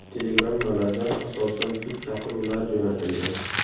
Telegrammalarda asosan sud chaqiruvlari jo‘natilgan.